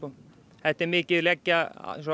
þetta er mikið að leggja